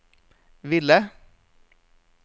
ville